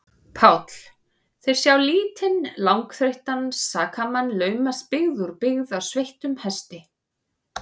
PÁLL: Þeir sjá lítinn, langþreyttan sakamann laumast byggð úr byggð á sveittum hesti.